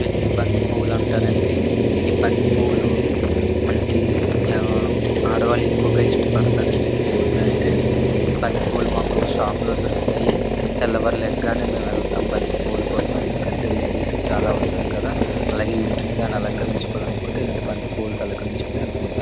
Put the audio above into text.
వీటిని బంతి పువ్వులు అంటారండి. ఈ బంతిపూలు మనకి ఎవరు ఆడవాళ్లు ఎక్కువ ఇష్టపడతారండి పూలంటే. బంతిపూలు మా షాప్ లోనే దొరుకుతాయి. తెల్లవారి లేగగానే మేము వెళ్తాం బంతిపూల కోసం ఎందుకంటే లేడీస్ కి చాలా అవసరం కదా అలాగే ఇంటిని కూడా అలంకరించుకోవాలనుకుంటే బంతిపూలు తో అలంకరించుకోవచ్చు.